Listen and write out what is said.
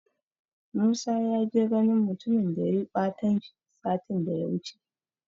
Musa ya je ganin mutumin da yayi ɓatanci satin daya wuce.